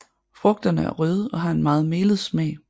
Frugterne er røde og har en melet smag